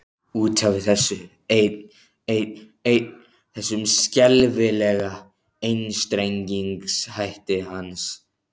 Út af þessu einn, einn, einn, þessum skelfilega einstrengingshætti hans.